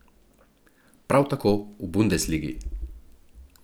Prav tako v bundesligi.